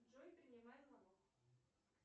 джой принимай звоник